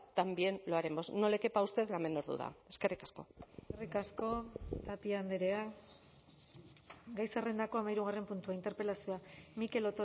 también lo haremos no le quepa a usted la menor duda eskerrik asko eskerrik asko tapia andrea gai zerrendako hamahirugarren puntua interpelazioa mikel